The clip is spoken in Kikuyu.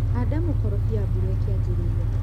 handa mũkorofia mbura ĩkĩanjĩrĩria.